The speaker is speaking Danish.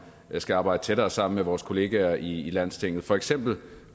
skal arbejde tættere sammen med vores kolleger i landstinget for eksempel